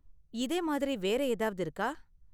இதே மாதிரி வேற ஏதாவது இருக்கா?